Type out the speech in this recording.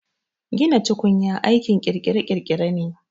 Gina tukunya aikin kirkire-kirkire ne